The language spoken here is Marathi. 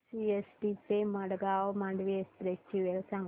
सीएसटी ते मडगाव मांडवी एक्सप्रेस ची वेळ सांगा